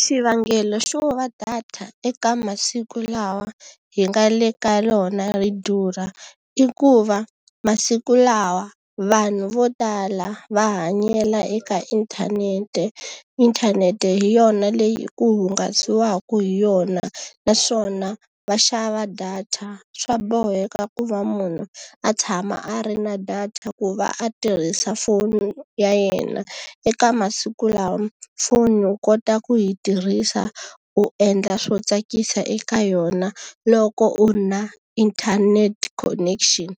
Xivangelo xo va data eka masiku lawa hi nga le ka wona ri durha, i ku va masiku lawa vanhu vo tala va hanyela eka inthanete. Inthanete hi yona leyi ku hungasiwaka hi yona, naswona va xava data. Swa boheka ku va munhu a tshama a ri na data ku va a tirhisa foni ya yena. Eka masiku lawa foni u kota ku yi tirhisa u endla swo tsakisa eka yona, loko u ri na internet connection